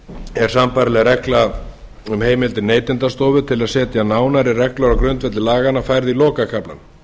er sambærileg regla um heimildir neytendastofu til að setja nánari felur á grundvelli laganna færð í lokakaflann